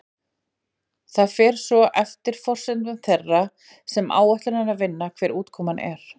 Það fer svo eftir forsendum þeirra sem áætlunina vinna hver útkoman er.